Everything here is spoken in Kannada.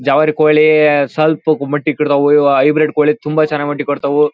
ಜವಾರಿ ಕೋಳಿ ಸ್ವಲ್ಪಕ್ಕೆ ಮೊಟ್ಟಿ ಕೊಡ್ತಾವು ಇವು ಹೈಬ್ರಿಡ್ ಕೋಳಿ ತುಂಬಾ ಚೆನ್ನಾಗಿ ಮೊಟ್ಟಿ ಕೊಡ್ತಾವು.